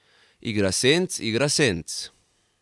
Igra senc, igra senc.